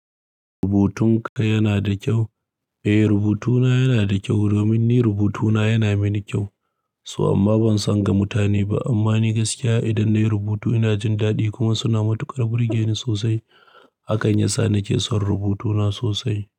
Rubutunka yana da kyau? Eh, rubutuna yana da kyau domin ni rubutuna yana mini kyau. So amma ban san ga mutane ba. Amma ni gaskiya idan nayi rubutu ina jin daɗi kuma suna matuƙar burge ni sosai. Hakan yasa nake son rubutuna sosai.